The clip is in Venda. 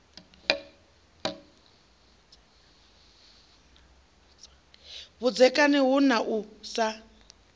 vhudzekani hu na u sa